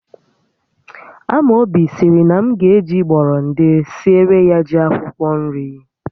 Amobi sịrị na m ga eji gbọrọndị siere ya ji akwụkwọ nri